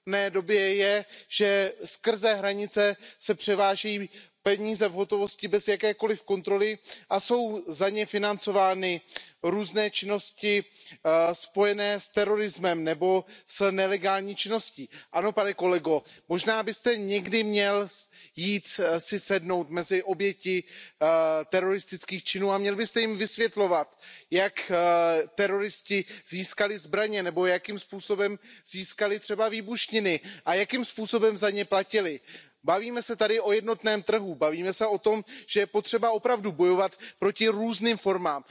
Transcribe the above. době je, že se přes hranice převáží peníze v hotovosti bez jakékoliv kontroly a jsou za ně financovány různé činnosti spojené s terorismem nebo s nelegální činností. Ano, pane kolego, možná byste si někdy měl jít sednout mezi oběti teroristických činů a měl byste jim vysvětlovat, jak teroristé získali zbraně nebo jakým způsobem získali třeba výbušniny a jakým způsobem za ně platili. Mluvíme tady o jednotném trhu, mluvíme o tom, že je potřeba opravdu bojovat proti různým formám.